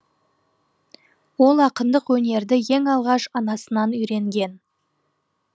ол ақындық өнерді ең алғаш анасынан үйренген